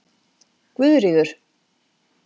Guðríður